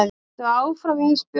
Haltu áfram Ísbjörg.